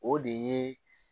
O de ye